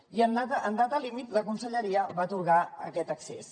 i en data límit la conselleria va atorgar aquest accés